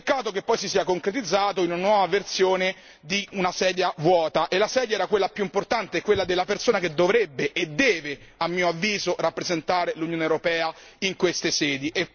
Peccato che poi si sia concretizzato in una nuova versione di una sedia vuota, e la sedia era quella più importante, quella della persona che dovrebbe e deve, a mio avviso, rappresentare l'Unione europea in queste sedi.